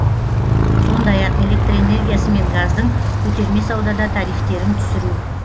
сондай ақ электр энергиясы мен газдың көтерме саудада тарифтерін түсіру